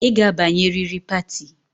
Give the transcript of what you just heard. I ga-abanye riri pati